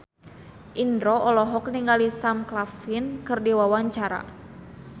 Indro olohok ningali Sam Claflin keur diwawancara